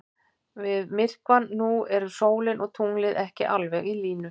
Við myrkvann nú eru sólin og tunglið ekki alveg í línu.